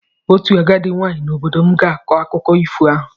Otu agadi nwaanyị n'obodo m ga-akọ akụkọ ifo ahụ.